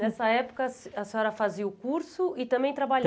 Nessa época, a a senhora fazia o curso e também trabalhava?